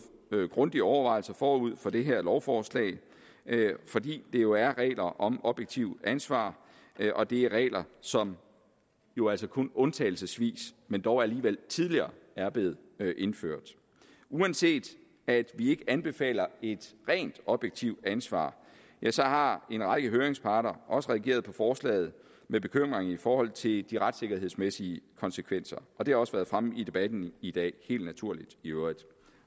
været grundige overvejelser forud for det her lovforslag fordi det jo er regler om objektivt ansvar og det er regler som jo altså kun undtagelsesvis men dog alligevel tidligere er blevet indført uanset at vi ikke anbefaler et rent objektivt ansvar så har en række høringsparter også reageret på forslaget med bekymring i forhold til de retssikkerhedsmæssige konsekvenser og det har også været fremme i debatten i dag helt naturligt i øvrigt